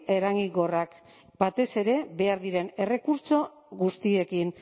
eraginkorrak batez ere behar diren errekurtso guztiekin